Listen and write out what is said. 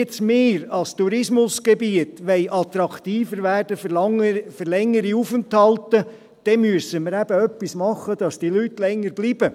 Wenn wir als Tourismusgebiet attraktiver werden wollen für längere Aufenthalte, müssen wir eben etwas tun, damit die Leute länger bleiben.